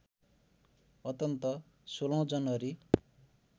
अन्तत १६ जनवरी